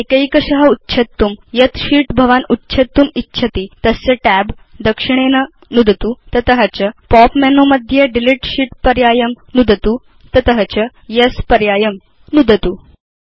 तद् एकैकश उच्छेत्तुं यत् शीत् भवान् उच्छेत्तुम् इच्छति तस्य tab दक्षिणेन नुदतु तस्मात् च पॉप उप् मेनु मध्ये डिलीट शीत् पर्यायं नुदतु तस्मात् च येस् पर्यायं नुदतु